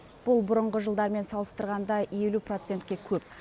бұл бұрынғы жылдармен салыстырғанда елу процентке көп